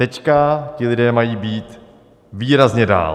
Teďka ti lidé mají být výrazně dál.